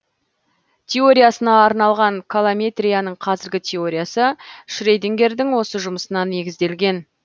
теориясына арналған колометрияның қазіргі теориясы шредингердің осы жұмысына негізделген